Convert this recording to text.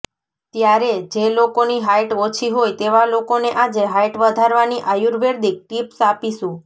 ત્યારે જે લોકોની હાઈટ ઓછી હોય તેવા લોકોને આજે હાઈટ વધારવાની આયુર્વેદિક ટિપ્સ આપીશું